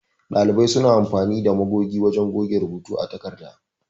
Ɗalibai suna amfani da magogi wajan goge rubuta a takarda.